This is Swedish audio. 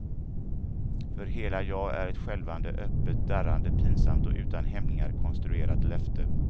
För hela jag är ett skälvande öppet darrande pinsamt och utan hämningar konstruerat löfte.